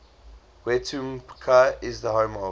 wetumpka is the home of